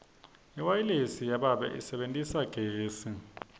iwayilesi yababe isebentisa gesi